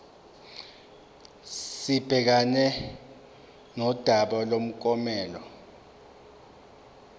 sibhekane nodaba lomklomelo